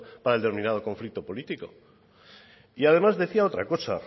para el determinado conflicto político y además decía otra cosa